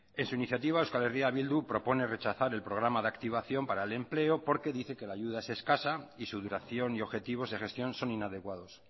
en su iniciativa eh bildu propone rechazar el programa de activación para el empleo porque dice que la ayuda es escasa y su duración y objetivos de gestión son inadecuados